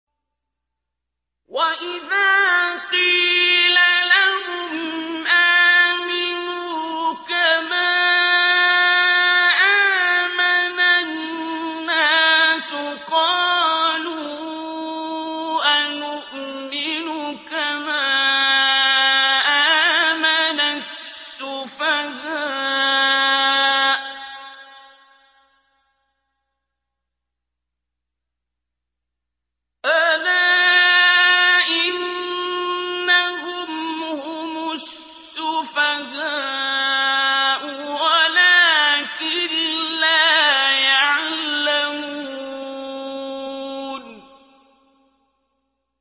وَإِذَا قِيلَ لَهُمْ آمِنُوا كَمَا آمَنَ النَّاسُ قَالُوا أَنُؤْمِنُ كَمَا آمَنَ السُّفَهَاءُ ۗ أَلَا إِنَّهُمْ هُمُ السُّفَهَاءُ وَلَٰكِن لَّا يَعْلَمُونَ